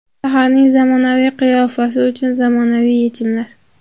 Shaharning zamonaviy qiyofasi uchun zamonaviy yechimlar.